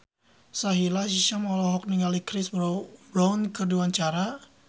Sahila Hisyam olohok ningali Chris Brown keur diwawancara